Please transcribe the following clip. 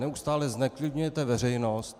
Neustále zneklidňujete veřejnost.